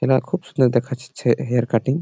এটা খুব সুন্দর দেখাইছে হেয়ার কাটিং ।